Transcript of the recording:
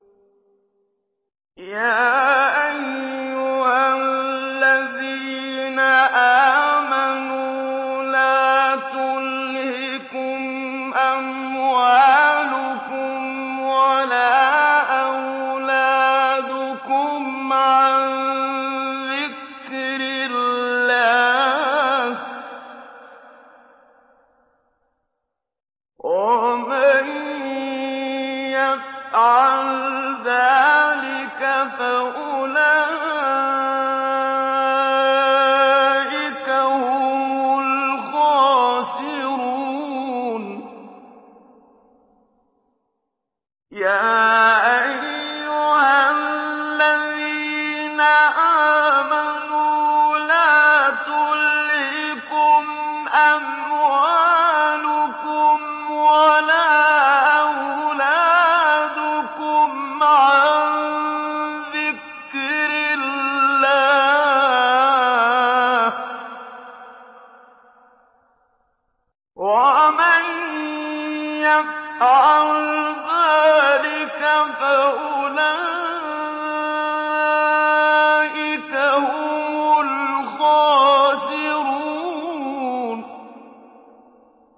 يَا أَيُّهَا الَّذِينَ آمَنُوا لَا تُلْهِكُمْ أَمْوَالُكُمْ وَلَا أَوْلَادُكُمْ عَن ذِكْرِ اللَّهِ ۚ وَمَن يَفْعَلْ ذَٰلِكَ فَأُولَٰئِكَ هُمُ الْخَاسِرُونَ